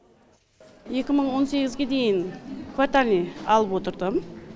екі мың он сегізге дейін квартальный алып отырдым